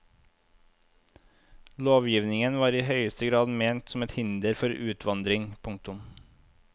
Lovgivningen var i høyeste grad ment som et hinder for utvandring. punktum